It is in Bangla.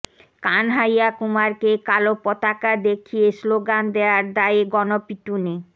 কানহাইয়া কুমারকে কালো পতাকা দেখিয়ে স্লোগান দেয়ার দায়ে গণপিটুনি